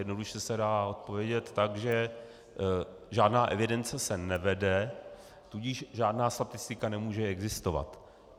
Jednoduše se dá odpovědět tak, že žádná evidence se nevede, tudíž žádná statistika nemůže existovat.